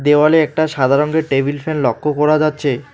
দেওয়ালে একটা সাদা রঙের টেবিল ফ্যান লক্ষ্য করা যাচ্ছে।